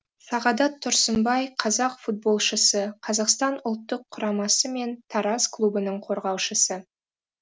сағадат тұрсынбай қазақ футболшысы қазақстан ұлттық құрамасы мен тараз клубының қорғаушысы